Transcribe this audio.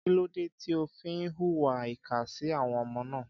Kí ló dé tí ó fi ń hùwà ìkà sí àwọn ọmọ náà?